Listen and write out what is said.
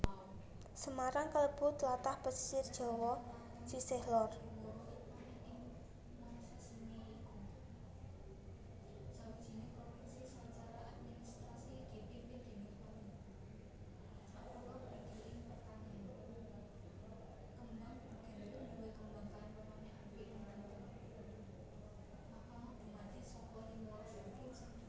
Semarang kalebu tlatah pesisir Jawa sisih lor